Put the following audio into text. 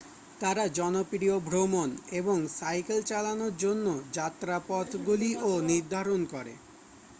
তারা জনপ্রিয় ভ্রমণ এবং সাইকেল চালানোর জন্য যাত্রাপথগুলিও নির্ধারণ করে